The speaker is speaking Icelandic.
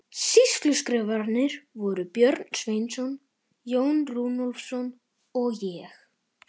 Sýsluskrifararnir voru Björn Sveinsson, Jón Runólfsson og ég.